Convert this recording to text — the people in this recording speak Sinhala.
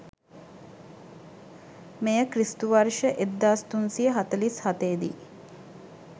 මෙය ක්‍රි.ව. 1347 දී